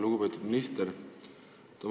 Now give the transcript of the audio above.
Lugupeetud minister!